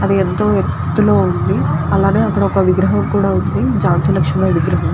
అది ఎంతో ఎత్తుగా ఉంది. అక్కడ ఒక విగ్రహం ఉంది . ఝాన్సీ లక్ష్మీబాయ్ విగ్రహం.